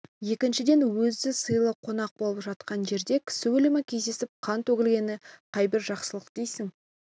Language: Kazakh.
екіншіден өзі сыйлы қонақ болып жатқан жерде кісі өлімі кездесіп қан төгілгені қайбір жақсылық дейсің